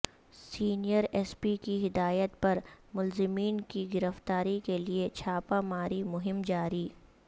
senior S P کی ہدایت پر ملزمین کی گرفتاری کیلئے چھاپہ ماری مہم جاری